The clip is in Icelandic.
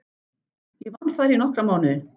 Ég vann þar í nokkra mánuði.